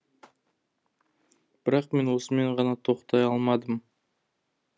бірақ мен осымен ғана тоқтай алмадым